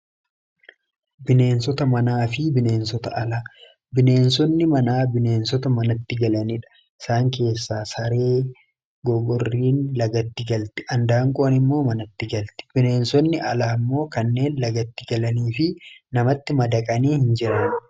bineensota manaa fi bineensota alaa bineensonni manaa bineensota manatti galaniidha isaan keessaa saree gogoriin lagatti galti andaanqoon immoo manatti galti bineensonni alaa immoo kanneen lagatti galanii fi namatti madaqanii hin jiran